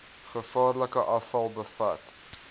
gevaarlike afval bevat